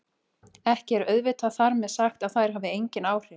Ekki er auðvitað þar með sagt að þær hafi engin áhrif!